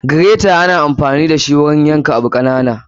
Gireta ana anfani dashi wurin yan ka abu kananu.